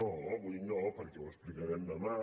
no avui no perquè ho explicarem demà